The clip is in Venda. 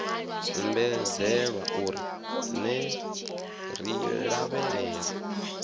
ombedzelwa uri ner i lavhelela